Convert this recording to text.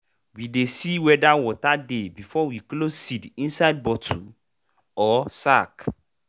we dey see whether water dey before we close seed inside bottle or sack.